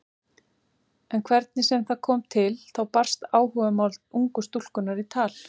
En hvernig sem það kom til þá barst áhugamál ungu stúlkunnar í tal.